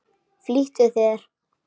Flýttu þér.